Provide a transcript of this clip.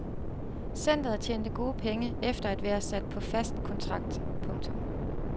Centret tjente gode penge efter at være sat på fast kontrakt. punktum